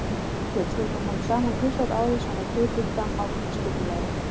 Fjölskyldan kom saman tvisvar á ári samkvæmt fyrirfram ákveðnu skipulagi.